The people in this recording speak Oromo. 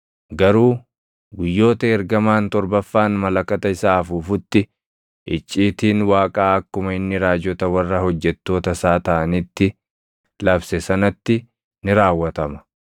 Garuu guyyoota ergamaan torbaffaan malakata isaa afuufutti icciitiin Waaqaa akkuma inni raajota warra hojjettoota isaa taʼanitti labse sanatti ni raawwatama.”